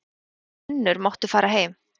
Ef þú vinnur máttu fara heim.